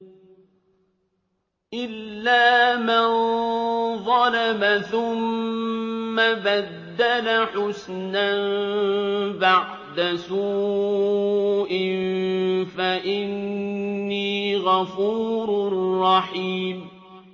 إِلَّا مَن ظَلَمَ ثُمَّ بَدَّلَ حُسْنًا بَعْدَ سُوءٍ فَإِنِّي غَفُورٌ رَّحِيمٌ